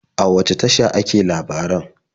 A wace tasha ake labaran?